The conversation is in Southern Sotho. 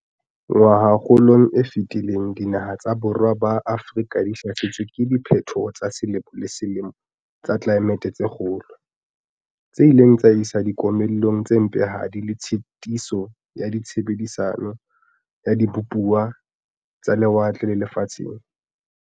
"Ngwahakgolong e fetileng dinaha tsa borwa ba Afrika di hlasetswe ke diphethoho tsa selemo le selemo tsa tlelae mete tse kgolo, tse ileng tsa isa dikomellong tse mpehadi le tshitiso ya tshebedisano ya dibupuwa tsa lewatleng le lefatsheng."